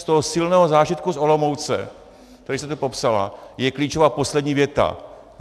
Z toho silného zážitku z Olomouce, který jste tu popsala, je klíčová poslední věta.